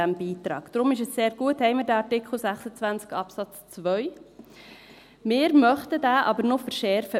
Daher ist es sehr gut, haben wir den Artikel 26 Absatz 2. Wir, die Minderheit, möchten diesen aber noch verschärfen.